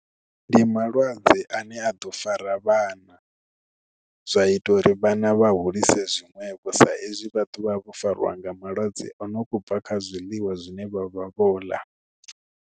Ndi malwadze ane a ḓo fara vhana zwa ita uri vhana vha hulise zwiṅwevho sa ezwi vha ḓovha vho fariwa nga malwadze o no kho bva kha zwiḽiwa zwine vha vha vho ḽa.